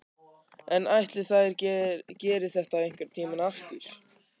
En ætli þær geri þetta einhvern tímann aftur?